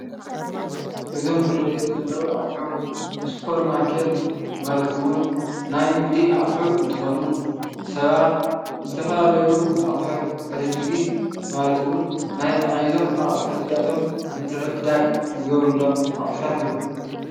እዞም ዝርኣዩኒ ዘለው ኣቁሑት ስፖርማርኬት ማለት እውን ናይ ንግዲ ኣቁሑት እንትኮኑ ሰባት ዝተፈላለዩ ኣቁሑት ዕድጊት ማለት እውን ናይ ኣቁሑት እዝይኣቶም ምትዕድዳግ ዝገብርሎም ኣቁሕታት እዮም።